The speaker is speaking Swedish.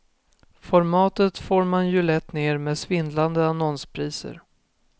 Formatet får man ju lätt ner med svindlande annonspriser.